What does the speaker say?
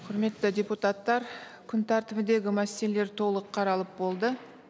құрметті депутаттар күн тәртібіндегі мәселелер толық қаралып болды